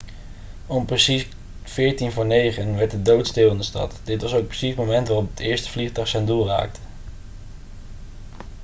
om precies 8.46 uur werd het doodstil in de stad dit was ook precies het moment waarop het eerste vliegtuig zijn doel raakte